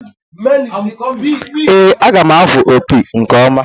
Ee, aga m afụwu opi nke ọma